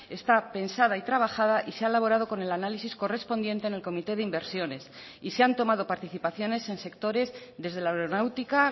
está pensada y trabajada y se ha elaborado con el análisis correspondiente en el comité de inversiones y se han tomado participaciones en sectores desde la aeronáutica